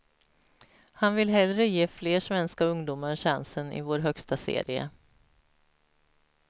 Han vill hellre ge fler svenska ungdomar chansen i vår högsta serie.